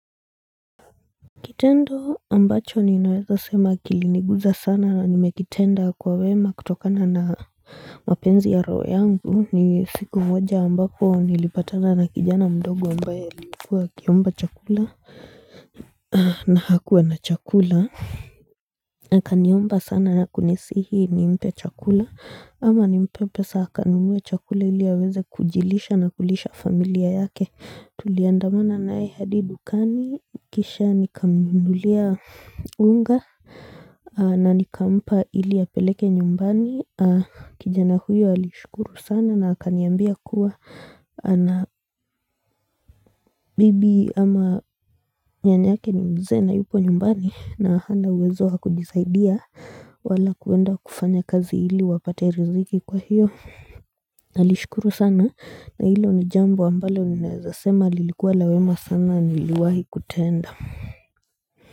Kitendo ambacho ninaweza sema kiliniguza sana na nimekitenda kwa wema kutokana na mapenzi ya roho yangu ni siku moja ambapo nilipatana na kijana mdogo ambaye alikuwa akiomba chakula na hakuwa na chakula akaniomba sana na kunisihi nimpe chakula ama nimpe pesa akanunue chakula ili aweze kujilisha na kulisha familia yake tuliandamana naye hadi dukani kisha nikamnunulia unga na nikampa ili yapeleke nyumbani kijana huyo alishukuru sana na akaniambia kuwa na bibi ama nyanyake ni mzee na yupo nyumbani na hana uwezo wa kujisaidia wala kuenda kufanya kazi ili wapate riziki kwa hiyo Nalishukuru sana na hilo ni jambo ambalo ninaweza sema lilikuwa la wema sana niliwahi kutenda.